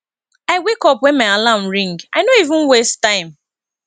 i wake up wen my alarm ring i no even waste time